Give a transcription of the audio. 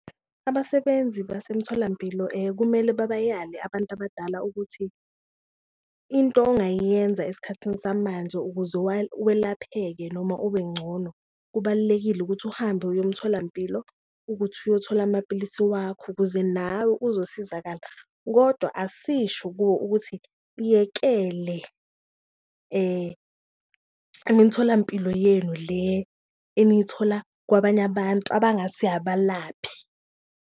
Abasebenzi basemtholampilo kumele bebayale abantu abadala ukuthi into ongayiyenza esikhathini samanje ukuze welapheke noma ubencono, kubalulekile ukuthi uhambe uyomtholampilo ukuthi uyothola amapilisi wakho ukuze nawe uzosizakala. Kodwa asisho kuwo ukuthi buyekele imitholampilo yenu le eniyithola kwabanye abantu abangasi abalaphi.